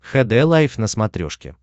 хд лайф на смотрешке